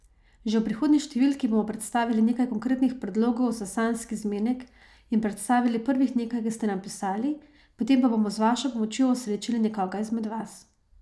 Že v prihodnji številki bomo predstavili nekaj konkretnih predlogov za sanjski zmenek in predstavili prvih nekaj, ki ste nam pisali, potem pa bomo z vašo pomočjo osrečili nekoga izmed vas.